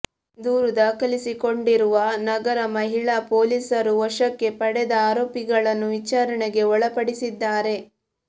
ದೂರು ದಾಖಲಿಸಿಕೊಂಡಿರುವ ನಗರ ಮಹಿಳಾ ಪೊಲೀಸರು ವಶಕ್ಕೆ ಪಡೆದ ಆರೋಪಿಗಳನ್ನು ವಿಚಾರಣೆಗೆ ಒಳಪಡಿಸಿದ್ಧಾರೆ